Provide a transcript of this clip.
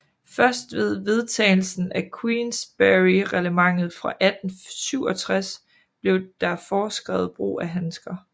Først ved vedtagelsen af Queensberryreglementet fra 1867 blev der foreskrevet brug af handsker